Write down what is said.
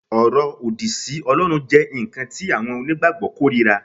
Ọ̀rọ̀ òdì sí Ọlọ́run jẹ́ nǹkan tí àwọn onígbàgbọ́ kórìíra